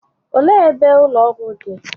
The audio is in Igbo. Olee ebe ebe ụlọ ọgwụ dị?